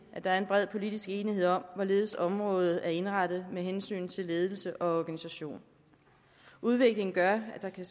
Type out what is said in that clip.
at der er en bred politisk enighed om hvorledes området er indrettet med hensyn til ledelse og organisation udviklingen gør at der kan